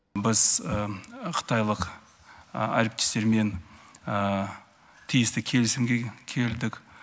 біз қытайлық әріптестермен тиісті келісімге келдік